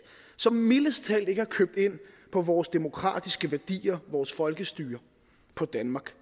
som mildest talt ikke har købt ind på vores demokratiske værdier vores folkestyre på danmark